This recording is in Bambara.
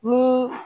Ni